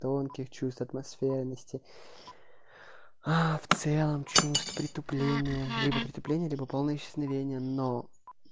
тонких чувств атмосферности в целом чувств притупления либо притупления либо полного исчезновение но